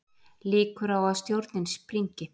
Líkur á að stjórnin springi